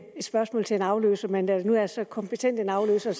spørgsmål til en afløser men da det nu er så kompetent en afløser